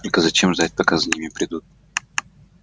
только зачем ждать пока за ним придут